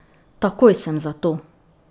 Takoj sem za to.